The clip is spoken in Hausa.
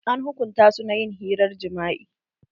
An hukunta su na ƴin hirar jima'i.